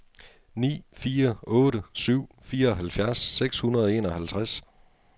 ni fire otte syv fireoghalvfjerds seks hundrede og enoghalvtreds